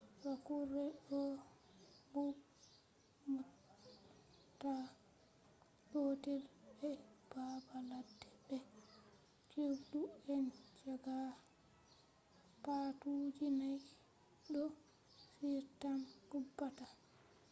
waccuure ɗo mooɓta gootelgenus panthera be baabaladde be cirɗu and jaguars. paatuuji nay ɗo on tan ubbata